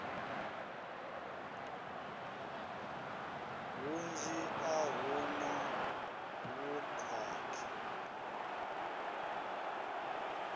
hunzhi a hu na vhukhakhi